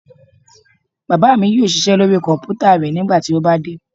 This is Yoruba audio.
Bàbá mi yóò ṣiṣẹ́ lóri kọ̀mpútà rẹ̀ nígbà tí ó bá dé